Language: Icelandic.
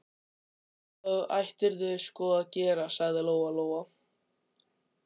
Já, það ættirðu sko að gera, sagði Lóa Lóa.